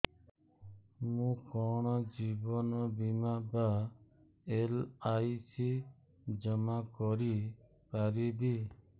ମୁ କଣ ଜୀବନ ବୀମା ବା ଏଲ୍.ଆଇ.ସି ଜମା କରି ପାରିବି